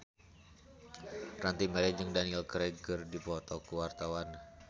Ranty Maria jeung Daniel Craig keur dipoto ku wartawan